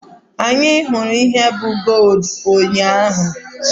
Anyị hụrụ ihe bụ gooludu ụnyaahụ.